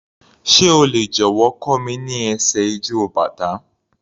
Sé o lè jọ̀wọ́ kọ́ mi ní ẹsẹ̀ ijó bàtá?